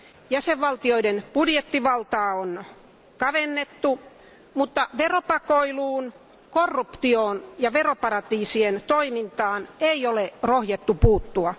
Jäsenvaltioiden budjettivaltaa on kavennettu, mutta veropakoiluun, korruptioon ja veroparatiisien toimintaan ei ole rohjettu puuttua.